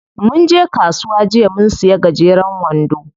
Munje kasuwa jiya mun siya gajeren wando.